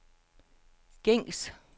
gængs